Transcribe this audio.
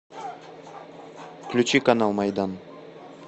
включи канал майдан